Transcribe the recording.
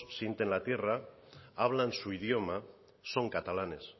sienten la tierra hablan su idioma son catalanes